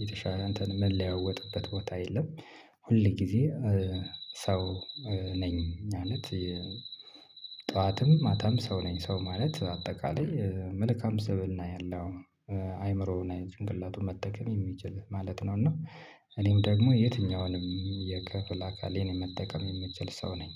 የተሻለ እንትን ምለዋወጥበት ቦታ የለም ሁል ጊዜ ሰው ነኝ ማለት ጠዋትም ማታም ሰው ነኝ ሰው ማለት አጠቃላይ መልካም ሰበና ያለው አይምሮውን አይነት ጭንቅላቱን መጠቀም የሚችል ማለት ነው እና እኔም ደግሞ የትኛውንም የከፍል አካሌን የመጠቀም የምችል ሰው ነኝ።